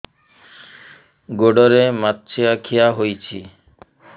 ଗୋଡ଼ରେ ମାଛଆଖି ହୋଇଛି